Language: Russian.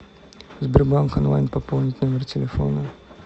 сбербанк онлайн пополнить номер телефона